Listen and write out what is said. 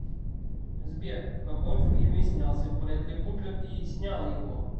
сбер в каком фильме снялся брэдли купер и снял его